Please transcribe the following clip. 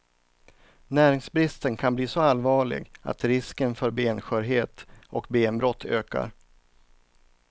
Näringsbristen kan bli så allvarlig att risken för benskörhet och benbrott ökar.